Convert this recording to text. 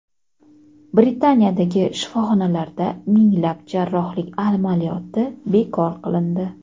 Britaniyadagi shifoxonalarda minglab jarrohlik amaliyoti bekor qilindi.